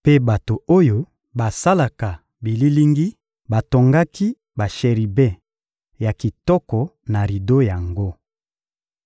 Mpe bato oyo basalaka bililingi batongaki basheribe ya kitoko na rido yango.